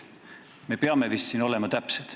Me peame siin vist olema täpsed.